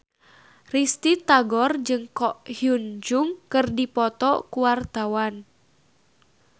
Risty Tagor jeung Ko Hyun Jung keur dipoto ku wartawan